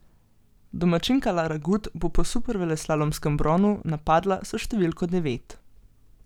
Domačinka Lara Gut bo po superveleslalomskem bronu napadla s številko devet.